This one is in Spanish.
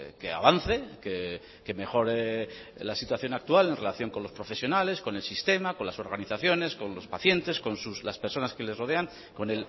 que avance que mejore la situación actual en relación con los profesionales con el sistema con las organizaciones con los pacientes con las personas que les rodean con